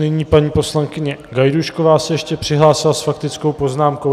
Nyní paní poslankyně Gajdůšková se ještě přihlásila s faktickou poznámkou.